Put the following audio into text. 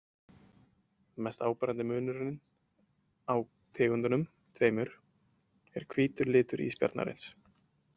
Mest áberandi munurinn á tegundunum tveimur er hvítur litur ísbjarnarins.